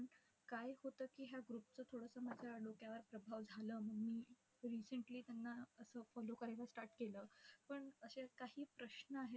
काय होतं की ह्या group चं थोडसं माझ्या डोक्यावर प्रभाव झालं म्हणून मी recently त्यांना असं follow करायचं start केलं. पण अशे काही प्रश्न आहेत